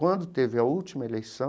Quando teve a última eleição,